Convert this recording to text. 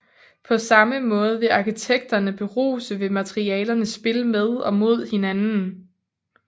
På samme måde vil arkitekterne beruse ved materialernes spil med og mod hinanden